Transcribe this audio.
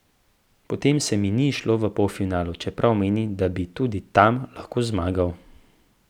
A potem se mi ni izšlo v polfinalu, čeprav menim, da bi tudi tam lahko zmagal.